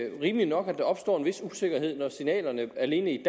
ikke rimeligt nok at der opstår en vis usikkerhed når signalerne alene i